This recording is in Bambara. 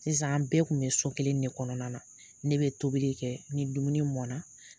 Sisan an bɛɛ tun bɛ so kelen de kɔnɔna na ne bɛ tobili kɛ ni dumuni mɔna